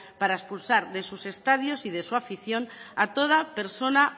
para expulsar de sus estadios y de su afición a toda persona